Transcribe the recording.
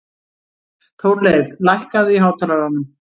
Þórleif, lækkaðu í hátalaranum.